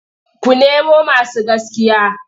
Ku nemo masu gaskiya!